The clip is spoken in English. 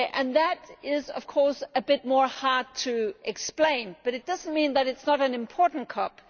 That is of course a bit more difficult to explain, but it does not mean that this is not an important COP.